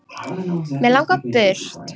Mig langar burt.